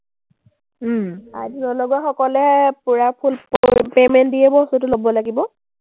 ID নলগোৱা সকলে পোৰা full payment দিয়েই বস্তুটো ল’ব লাগিব।